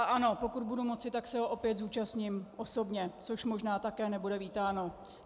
A ano, pokud budu moci, tak se ho opět zúčastním osobně, což možná také nebude vítáno.